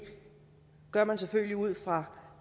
gør man selvfølgelig ud fra